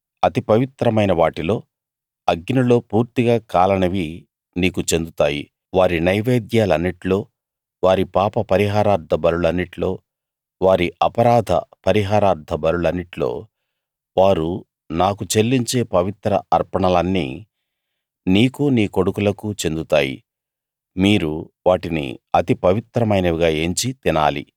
అతి పవిత్రమైన వాటిలో అగ్నిలో పూర్తిగా కాలనివి నీకు చెందుతాయి వారి నైవేద్యాలన్నిట్లో వారి పాప పరిహారార్థ బలులన్నిట్లో వారి అపరాధ పరిహారార్థ బలులన్నిట్లో వారు నాకు చెల్లించే పవిత్ర అర్పణలన్నీ నీకు నీ కొడుకులకూ చెందుతాయి మీరు వాటిని అతి పవిత్రమైనవిగా ఎంచి తినాలి